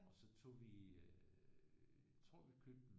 Og så tog vi øh tror vi købte